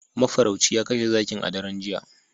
Mafarauci ya kashe zakin a daren jiya